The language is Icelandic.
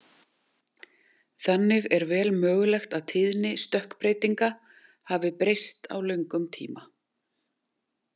Þannig er vel mögulegt að tíðni stökkbreytinga hafi breyst á löngum tíma.